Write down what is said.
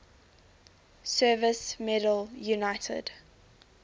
service medal united